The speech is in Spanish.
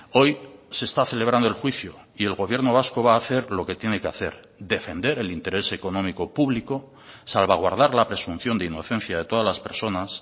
hoy se está celebrando el juicio y el gobierno vasco va a hacer lo que tiene que hacer defender el interés económico público salvaguardar la presunción de inocencia de todas las personas